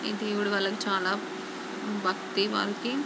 ఈ దేవుడు వాళ్లకి చాలా భక్తి వాళ్లకి--